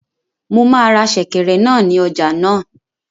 Mo máa ra sèkẹ̀rẹ̀ náà ní ọjà náà